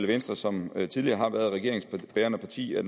venstre som tidligere har været regeringsbærende parti at